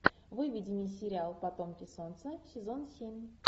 выведи мне сериал потомки солнца сезон семь